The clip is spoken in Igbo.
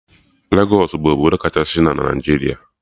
Legos bụ obodo kachasị na Naijiria